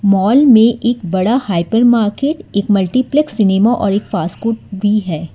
Mall मे एक बड़ा हाइपरमार्केट एक मल्टीप्लेक्स सिनेमा और एक फासकोट भी है।